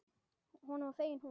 Honum var fengin hún.